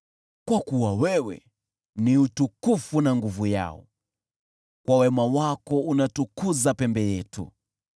Kwa kuwa wewe ni utukufu na nguvu yao, kwa wema wako unatukuza pembe yetu.